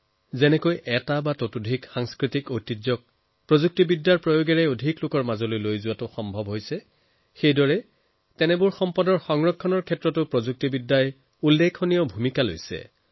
যত এফালে প্ৰযুক্তিৰ জৰিয়তে সাংস্কৃতিক ঐতিহ্যক আৰু অধিক জনতাৰ কাষলৈ নিয়াত গুৰুত্বপূৰ্ণ হিচাপে বিবেচিত হৈছে আনফালে এই ঐতিহ্যৰ সংৰক্ষণৰ বাবে প্ৰযুক্তিৰ ব্যৱহাৰো গুৰুত্বপূৰ্ণ হিচাপে বিবেচিত হৈছে